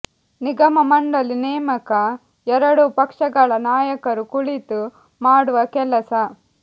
ನಿಗಮ ಮಂಡಳಿ ನೇಮಕ ಎರಡೂ ಪಕ್ಷಗಳ ನಾಯಕರು ಕುಳಿತು ಮಾಡುವ ಕೆಲಸ